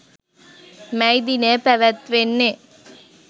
මැයි දිනය පැවැත්වෙන්නේ